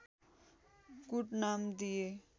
कुट नाम दिए